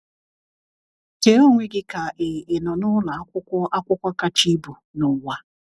Chee onwe gị ka ị ị nọ n’ụlọ akwụkwọ akwụkwọ kacha ibu n’ụwa.